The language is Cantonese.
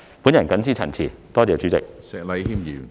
我謹此陳辭，多謝主席。